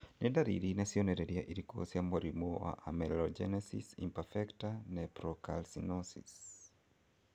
Nĩ ndariri na cionereria irĩkũ cia mũrimũ wa Amelogenesis imperfecta nephrocalcinosis?